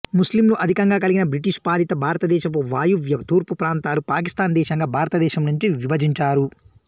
ముస్లింలు అధికంగా కలిగిన బ్రిటిషు పాలిత భారతదేశపు వాయువ్య తూర్పు ప్రాంతాలు పాకిస్తాన్ దేశంగా భారతదేశం నుంచి విభజించారు